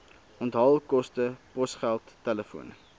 onthaalkoste posgeld telefoon